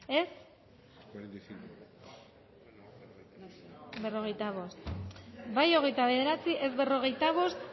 dezakegu bozketaren emaitza onako izan da hirurogeita hamalau eman dugu bozka hogeita bederatzi boto aldekoa cuarenta y cinco contra